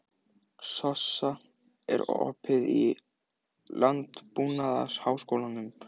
Sossa, er opið í Landbúnaðarháskólanum?